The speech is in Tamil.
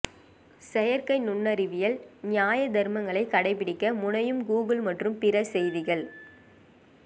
செயற்கை நுண்ணறிவில் நியாய தர்மங்களை கடைபிடிக்க முனையும் கூகுள் மற்றும் பிற செய்திகள்